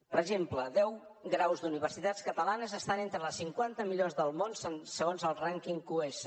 per exemple deu graus d’universitats catalanes estan entre les cinquanta millors del món segons el rànquing qs